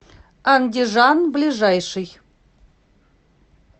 андижан ближайший